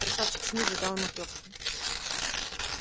красавчик смит задал ему трёпку